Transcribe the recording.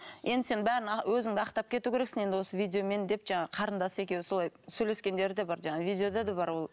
енді сен бәрін өзіңді ақтап кету керексің енді осы видеомен деп жаңағы қарындасы екеуі солай сөйлескендері де бар жаңағы видеода да бар ол